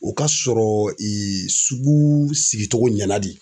O ka sɔrɔ sugu sigicogo ɲɛna de.